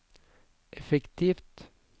effektivt